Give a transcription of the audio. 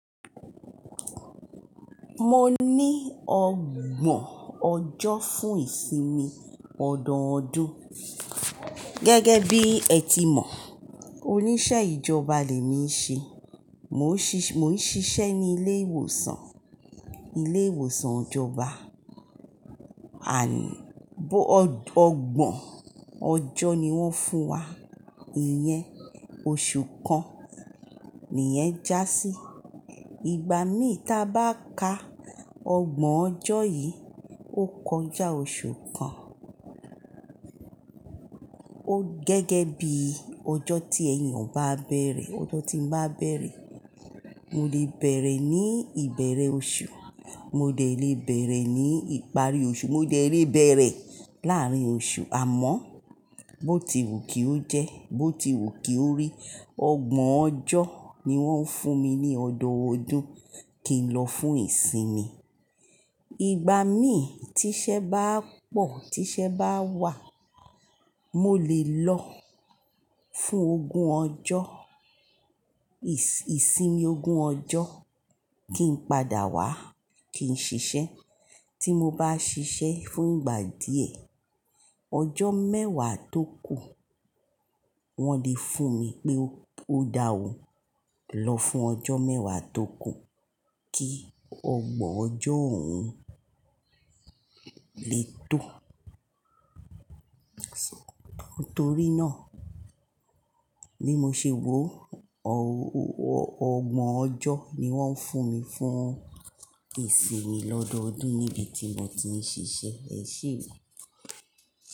Mo ní ọgbọ̀n ọjọ́ fún ìsinmi ọdọọdún. Gẹ́gẹ́ bí ẹ ti mọ̀, oníṣẹ́ ìjọba lè mi ṣe mo. Mo ń ṣiṣẹ́ ní ilé ìwòsàn, ilé ìwòsàn ìjọba ọgbọ̀n ọjọ́ ni wọ́n fún wa. Ìyẹn oṣù kan ni yẹn já sí. Ìgbà mí tí a bá ka ọgbọ̀n ọjọ́ yìí, ó kọjá oṣù kan. Ó gẹ́gẹ́ bí ọjọ́ tí èèyàn bá bẹ̀rẹ̀, ọjọ́ tí ń bá bẹ̀rẹ̀. Mo lè bẹ̀rẹ̀ ní ìbẹ̀rẹ̀ oṣù, mo dẹ̀ lè bẹ̀rẹ̀ ní ìparí oṣù, mo dẹ̀ lè rí bẹ̀rẹ̀ láàárín oṣù. Àmọ́, bó ti wù kí ó jẹ́, bó ti wù kí ó rí, ọgbọ̀n ọjọ́ ni wọ́n ń fún mi ní ọdọọdún kí n lọ fún ìsinmi. Ìgbà mí tí iṣẹ́ bá pọ̀, tí iṣẹ́ bá wà, mo lè lọ fún ogún ọjọ́, ìsinmi ogún ọjọ́ kí n padà wá kí n ṣiṣẹ́. Tí mo bá ṣiṣẹ́ fún ìgbà díẹ̀, ọjọ́ mẹ́wàá tó kù wọn lè fún mi pé ó da ò lọ fún ọjọ́ mẹ́wàá tó kù kí ọgbọ̀n ọjọ́ òun lè tó. Nítorí náà, bí mo ṣe wò ó, ọgbọ̀n ọjọ́ ni wọ́n ń fún mi fún ìsinmi lọ́dọọdún níbi tí mo ti ń ṣiṣẹ́. Ẹsẹ̀.